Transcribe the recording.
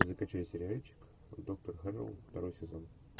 закачай сериальчик доктор хэрроу второй сезон